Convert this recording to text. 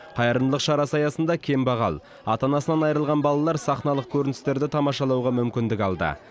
қайырымдылық шарасы аясында кембағал ата анасынан айырылған балалар сахналық көріністерді тамашалауға мүмкіндік алды